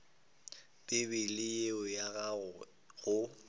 bibele ye ya gago go